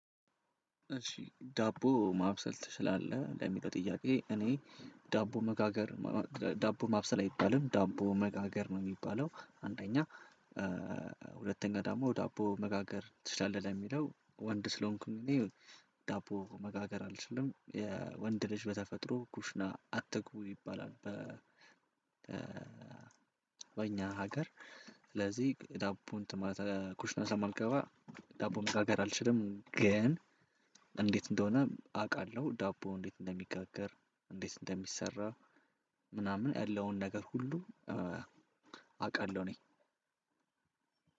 እሺ ዳቦ ማብሰል ትችላለህ ለሚለው ጥያቄ? እኔ ዳቦ መጋገር ዳቦ ማብሰል አይባልም ዳቦ መጋገር ነው የሚባለው አንደኛ። ሁለተኛ ደግሞ ዳቦ መጋገር ትችላለህ የሚለው ወንድ ስለሆንኩኝ እኔ። ዳቦ መጋገር አልችልም የወንድ ልጅ በተፈጥሮ ኩሽና አትግቡ ይባላል በ በኛ ሀገር። ስለዚህ ዳቦ እንትን ማለት ኩሽና ስለማልገባ። ዳቦ መጋጋር አልችልም ግን። እንዴት እንደሆነ አውቃለሁ። ዳቦ እንዴት እንደሚጋገር እንዴት እንደሚሰራ ምናምን ያለውን ነገር ሁሉ አውቃለሁ። እኔ